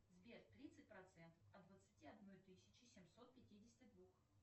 сбер тридцать процентов от двадцати одной тысячи семьсот пятидесяти двух